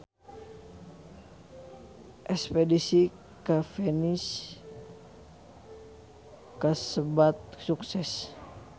Espedisi ka Venice kasebat sukses